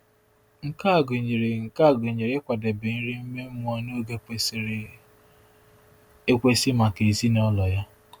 Nke a gụnyere Nke a gụnyere ịkwadebe nri ime mmụọ n’oge kwesịrị ekwesị maka ezinụlọ ya.